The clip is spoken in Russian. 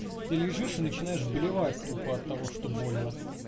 ты лежишь и начинаешь блевать тупо от того что больно